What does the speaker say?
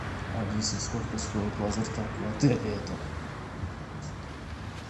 алиса сколько стоит лазертаг в отеле этом